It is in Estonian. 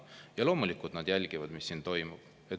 Ja loomulikult nad jälgivad, mis siin toimub.